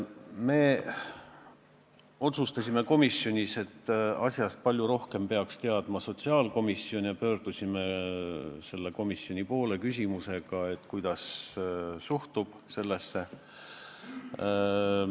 Me mõtlesime komisjonis, et asjast peaks palju rohkem teadma sotsiaalkomisjon, ja pöördusime nende poole küsimusega, kuidas nad sellesse suhtuvad.